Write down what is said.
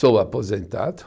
Sou aposentado.